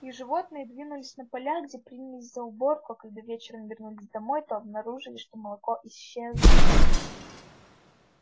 и животные двинулись на поля где принялись за уборку а когда вечером вернулись домой то обнаружили что молоко исчезло